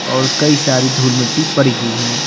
और कई सारी धूल मिट्टी परी हुई है।